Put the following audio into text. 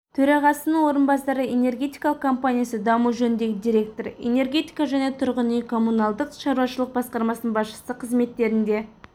төрағасының орынбасары энергетикалық компаниясы даму жөніндегі директоры энергетика және тұрғын үй-коммуналдық шаруашылық басқармасының басшысы қызметтерінде